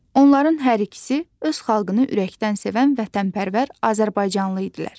Onların hər ikisi öz xalqını ürəkdən sevən vətənpərvər azərbaycanlı idilər.